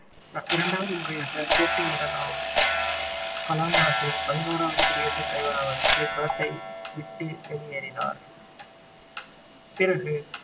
இரண்டாவது முறையாக போட்டியிடலாம் கலாம் நாட்டின் பதினோராவது குடியரசு தலைவராவதற்கு களத்தை விட்டு வெளியேறினார் பிறகு